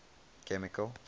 chemical